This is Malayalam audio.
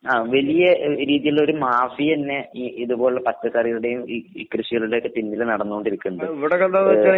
ആഹ് വലിയ ഏഹ് രീതീലൊള്ളൊര് മാഫിയന്നെ ഈ ഇതുപോല്ള്ള പച്ചക്കറികള്ടേം ഈ ഈ കൃഷികള്ടെയൊക്കെ പിന്നില് നടന്നോണ്ടിരിക്ക്ണ്ട്. ഏഹ്.